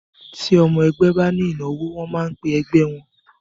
Ti ọmọ ẹgbẹ́ ba ní ìnáwó, wọ́n máa ń pẹ ẹgbẹ́ wọ́n.